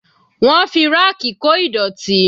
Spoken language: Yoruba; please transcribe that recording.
Wọ́n fi ráàkì kó ìdọ̀tí.